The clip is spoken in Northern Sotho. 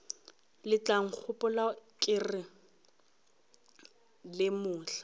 letlankgopola ke re le mohla